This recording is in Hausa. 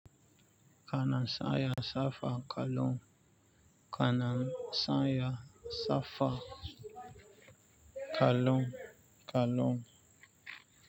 Kana sanya safar kwllon, kana san ya safa kallon kwallon.